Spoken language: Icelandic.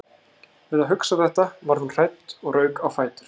Við að hugsa þetta varð hún hrædd og rauk á fætur.